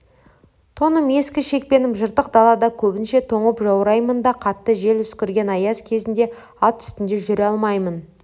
тоным ескі шекпенім жыртық далада көбінше тоңып жаураймын да қатты жел үскірген аяз кезінде ат үстінде жүре алмаймын